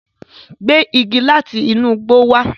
Gbé igi lati inu igbo wá!